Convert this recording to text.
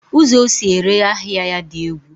ụzọ o si ere ahịa ya dị egwu.